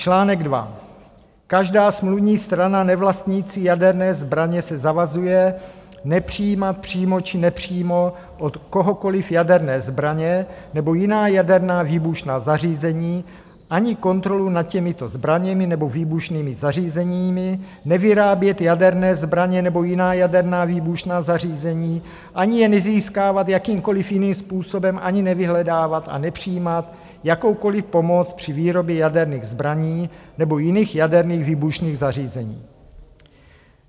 Článek 2: Každá smluvní strana nevlastnící jaderné zbraně se zavazuje nepřijímat přímo či nepřímo od kohokoliv jaderné zbraně nebo jiná jaderná výbušná zařízení ani kontrolu nad těmito zbraněmi nebo výbušnými zařízeními, nevyrábět jaderné zbraně nebo jiná jaderná výbušná zařízení, ani je nezískávat jakýmkoliv jiným způsobem, ani nevyhledávat a nepřijímat jakoukoliv pomoc při výrobě jaderných zbraní nebo jiných jaderných výbušných zařízení.